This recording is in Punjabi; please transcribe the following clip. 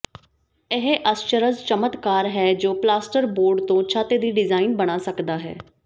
ਇਹ ਅਸਚਰਜ ਚਮਤਕਾਰ ਹੈ ਜੋ ਪਲਾਸਟਰਬੋਰਡ ਤੋਂ ਛੱਤ ਦੀ ਡਿਜ਼ਾਈਨ ਬਣਾ ਸਕਦਾ ਹੈ